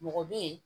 Mɔgɔ bɛ ye